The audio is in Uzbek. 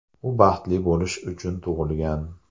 U baxtli bo‘lish uchun tug‘ilgan”.